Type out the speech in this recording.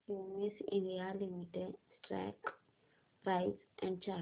Cummins India limited stock price and chart